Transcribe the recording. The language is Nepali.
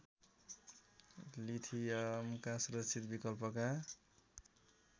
लिथियमका सुरक्षित विकल्पका